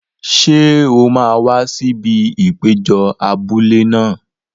Ṣé o máa wá sí ibi ìpéjọ abúlé náà?